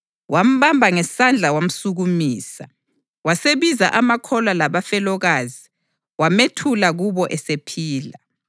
Wambamba ngesandla wamsukumisa. Wasebiza amakholwa labafelokazi wamethula kubo esephila.